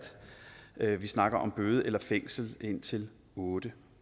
at vi snakker om bøde eller fængsel indtil otte